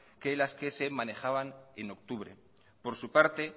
que las que se manejaban en octubre por su parte